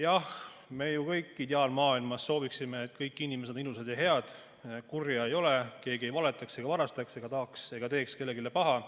Jah, me ju kõik ideaalmaailmas sooviksime, et kõik inimesed oleksid ilusad ja head, kurja ei oleks, keegi ei valetaks ega varastatakse ega teeks kellelegi paha.